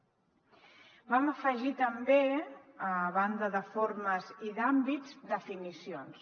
vam afegir també a banda de formes i d’àmbits definicions